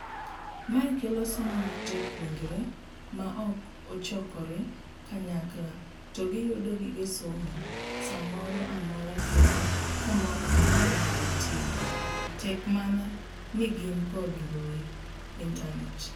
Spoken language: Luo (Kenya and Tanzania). Mae kelo somo mar jopuonjre maok ochokre kanyakla to giyudo gige somo saa moro amoro kendo kamoro amora magintie tek mana nigin kod mbui [ internate.]